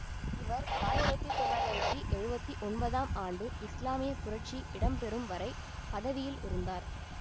இவர் ஆயிரத்தி தொள்ளாயிரத்தி எழுவத்தி ஒன்பதாம் ஆண்டு இசுலாமிய புரட்சி இடம்பெறும் வரை பதவியில் இருந்தார்